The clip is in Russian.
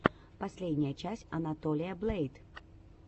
последняя часть анатолия блэйд